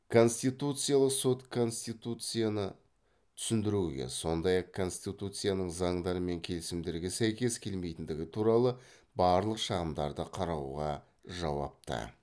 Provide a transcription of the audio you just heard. конституциялық сот конституцияны түсіндіруге сондай ақ конституцияның заңдар мен келісімдерге сәйкес келмейтіндігі туралы барлық шағымдарды қарауға жауапты